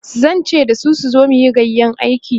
zan ce dasu su zo muyi gayƴan aiki